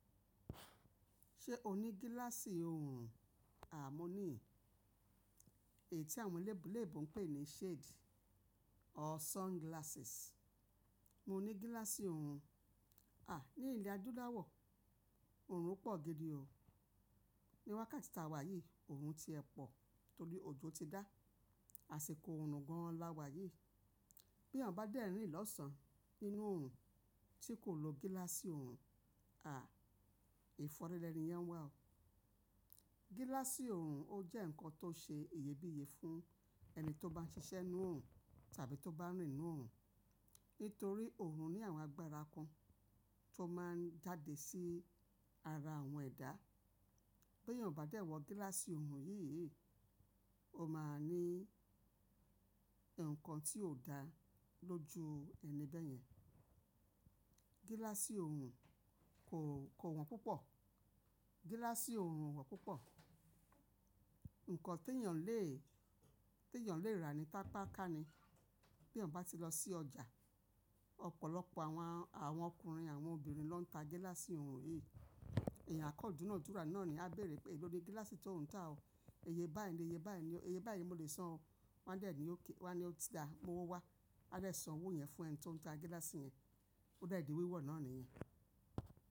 Ṣé o ní gíláàsì òòrùn? Aà, mo ní i. Èyí tí àwọn eléébò ń pè ní shade or sunglasses. Mo ní gíláàsì òòrùn. À, ní ilẹ̀ adúláwọ̀ òòrùn pọ̀ gidi o. Níwákà tí ta wà yìí, òòrùn ti ẹ pọ̀ torí òjò ti dá. Àsìkò òòrùn gan-an láwà yìí. Bí èèyàn bá dẹ́rìnì lọ́sàn-án nínú òòrùn tí kò lo gíláàsì òòrùn, à, lẹ́ni yẹn ń wà o. Gíláàsì òòrùn ó jẹ́ ǹkan tó ṣe ìyébiíyé fún ẹni tó bá ń ṣiṣẹ́ nínú òòrùn tàbí tó bá rìn nínú òòrùn. Nítorí òòrùn ní àwọn agbára kan tó máa ń jáde sí ara àwọn ẹ̀dá. Bí èèyàn o bá dẹ́ wọ gíláàsì òòrùn yìí yìí, ó máa ní ǹkan tí ò dá lọ́jú ẹni bẹ́ẹ̀ yẹn. Gíláàsì òòrùn kò, kò wọ́n púpọ̀. Gíláàsì òòrùn wọ́n púpọ̀. Ǹkan tí èèyàn lè, tí èèyàn lè rà ní tápá kà ni. Bí èèyàn bá ti lọ sí ọjà, ọ̀pọ̀lọpọ̀ àwọn, àwọn ọkùnrin, àwọn obìnrin ló ń ta gíláàsì òòrùn yìí. Ẹ̀yàn à kán dúnàdúrà náà ni a béèrè pé èló ni gíláàsì tó ń ta o? Iyẹ báyìí ni, iyẹ báyìí ni, iyẹ báyìí mo lè san o. Wọ́n á dẹ́ ní í ok, wọ́n á ní ó ti dáa, mú owó wá. Wọ́n á dẹ́ san owó yẹn fún ẹni tí ó ń ta gíláàsì yẹn. Ó de di wíwọ̀ náà nìyẹn.